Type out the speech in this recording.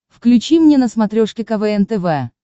включи мне на смотрешке квн тв